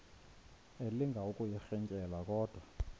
elinga ukuyirintyela kodwa